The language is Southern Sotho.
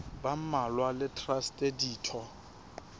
ba mmalwa le traste ditho